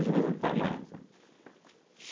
Às vezes até mais, né.